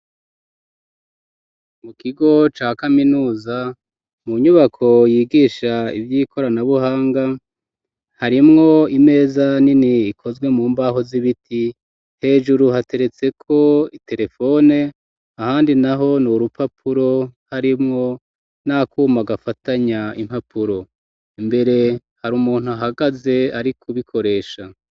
Mu kigo ca kaminuza mu nyubako yigisha ivy'ikoranabuhanga, harimwo imeza nini ikozwe mu mbaho z'ibiti hejuru hateretseko iterefone ahandi naho ni urupapuro ,harimwo n'akuma gafatanya impapuro, imbere har'umuntu ahagaze ari kubikoresha.